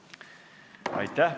Aitäh!